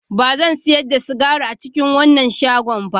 Ba zan sayar da sigari a cikin wannan shagona ba